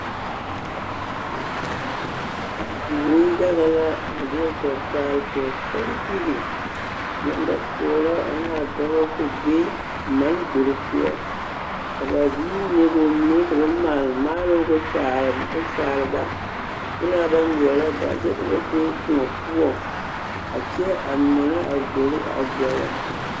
Nembɛrɛ la a deɛ kpɛ paale pɔgesarebilii nambapoɔrɔ ane a dɔbɔ kpɛ be mane gbori poɔ ka a ziiri mine ka maale maaroŋ k'o kyaare ba ŋmenaa ba ŋmeɛrɛ ba kyɛ ka ba be kõɔ poɔŋ a kyɛ a mɔnɔ a gbori a gɛrɛ.